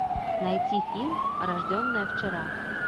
найти фильм рожденная вчера